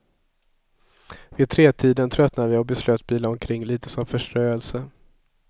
Vid tretiden tröttnade vi och beslöt bila omkring litet som förströelse.